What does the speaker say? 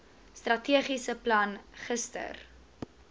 strategiese plan gister